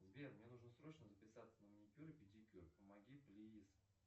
сбер мне нужно срочно записаться на маникюр и педикюр помоги плиз